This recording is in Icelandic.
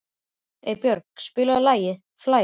Eybjörg, spilaðu lagið „Flæði“.